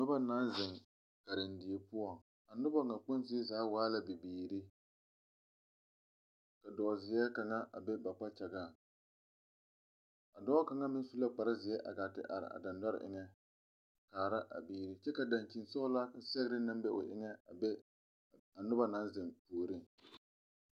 Noba naŋ zeŋ karendie poɔ, a noba ŋa kpoŋ zie zaa waa la bibiiri ka dozie kaŋa a be ba kpakyaŋ, a dɔɔ kaŋa meŋ su la kpare zie a gaati are a deŋdɔre eŋe a kaara a biiri kyɛ ka dankyini sɔglaa sɛgere na be o eŋe a be a Noba naŋ zeŋ puoriŋ